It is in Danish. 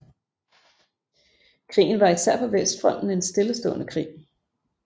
Krigen var især på vestfronten en stillestående krig